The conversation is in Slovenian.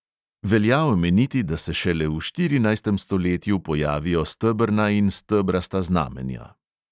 Velja omeniti, da se šele v štirinajstem stoletju pojavijo stebrna in stebrasta znamenja.